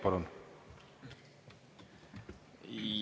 Palun!